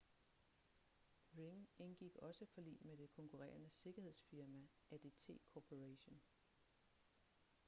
ring indgik også forlig med det konkurrerende sikkerhedsfirma adt corporation